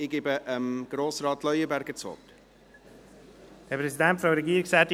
Ich gebe Grossrat Leuenberger das Wort.